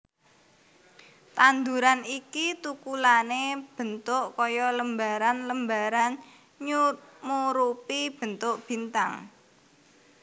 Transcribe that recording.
Tanduran iki tukulane mbentuk kaya lembaran lembaran nyumurupi bentuk bintang